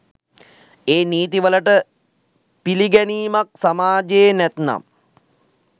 ඒ නීති වලට පිළිගැනීමක් සමාජයේ නැත්නම්.